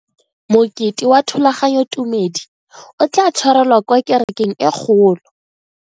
Mokete wa thulaganyotumedi o tla tshwarelwa kwa kerekeng e kgolo.